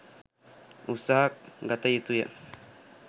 උත්සාහ ගත යුතුය.